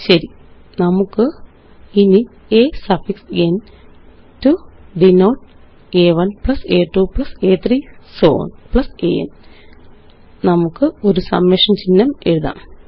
ശരി ഇനി നമുക്ക് a സഫിക്സ് ന് ടോ ഡിനോട്ട് അ1 അ2 അ3 സോ ഓൺ അൻ നായി നമുക്കൊരു സമ്മേഷന് ചിഹ്നം എഴുതാം